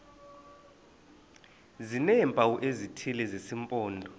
sineempawu ezithile zesimpondo